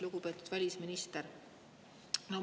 Lugupeetud välisminister!